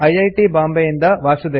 T ಬಾಂಬೆಯಿಂದ ವಾಸುದೇವ